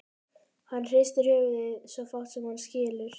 Hann hristir höfuðið, svo fátt sem hann skilur.